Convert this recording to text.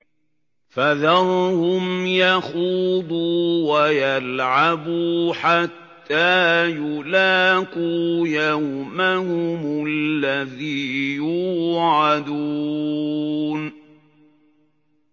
فَذَرْهُمْ يَخُوضُوا وَيَلْعَبُوا حَتَّىٰ يُلَاقُوا يَوْمَهُمُ الَّذِي يُوعَدُونَ